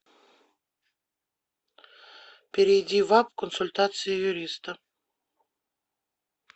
перейди в апп консультация юриста